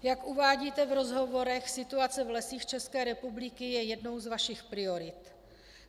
Jak uvádíte v rozhovorech, situace v Lesích České republiky je jednou z vašich priorit.